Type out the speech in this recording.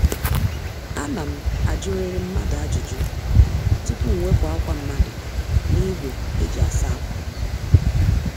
Ana m ajuriri mmadụ ajụjụ tupu m wepụ ákwá mmadụ n'ígwé eji asa ákwá